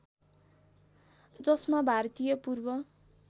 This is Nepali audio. जसमा भारतीय पूर्व